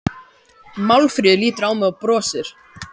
Málfríður lítur á mig og brosir.